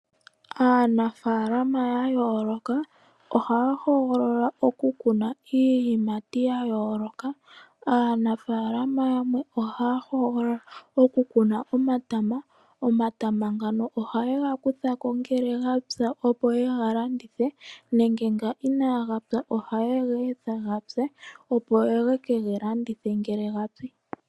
Aanafaalama yayooloka ohaya hogolola okukuna iiyimati ya yooloka. Aanafaalama yamwe ohaya hogolola oku kuna omatama . Omatama ngano ohaye ga kuthako ngele gapi opo yega landithe nenge nga inagapya ohaye ga etha gapye opo ye kega landithe ngele gapi.